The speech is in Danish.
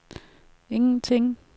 ingenting